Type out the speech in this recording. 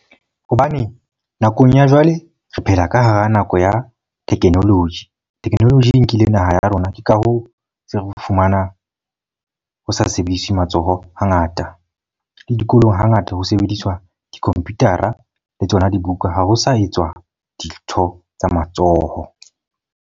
Hobane nakong ya jwale re phela ka hara nako ya technology. Technology e nkile naha ya rona. Ke ka hoo se re o fumanang ho sa sebediswe matsoho ha ngata. Le dikolong ha ngata ho sebediswa di-computer-a le tsona dibuka. Ha ho sa etswa dintho tsa matsoho.